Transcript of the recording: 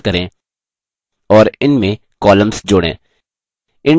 text boxes का इस्तेमाल करें और इनमें columns जोड़ें